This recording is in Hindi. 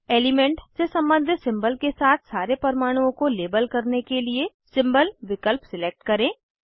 एलिमेंट से सम्बंधित सिंबल के साथ सारे परमाणुओं को लेबल करने के लिए सिम्बोल विकल्प सिलेक्ट करें